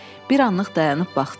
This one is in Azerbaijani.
Bir anlıq dayanıb baxdı.